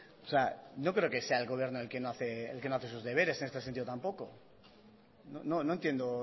no creo que sea el gobierno el que no hace sus deberes en este sentido tampoco no entiendo